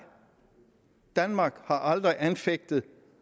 danmark har aldrig anfægtet